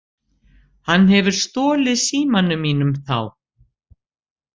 Hann hefur stolið símanum mínum þá.